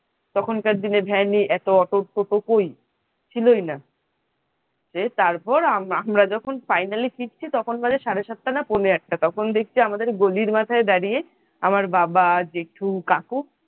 তখনকার দিনে van এত অটো টোটো কই ছিলই না যে তারপর আমরা যখন finally ফিরছি তখন সাড়ে সাতটা বা পৌনে আটটা তখন দেখছি আমাদের গলির মাথায় দাঁড়িয়ে আমার বাবা, জেঠু, কাকু